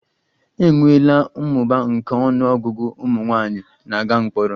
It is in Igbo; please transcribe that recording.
E nweela mmụba nke ọnụ ọgụgụ ụmụ nwanyị na-aga mkpọrọ